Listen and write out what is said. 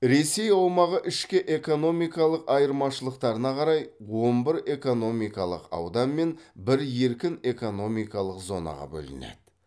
ресей аумағы ішкі экономикалық айырмашылықтарына қарай он бір экономикалық аудан мен бір еркін экономикалық зонаға бөлінеді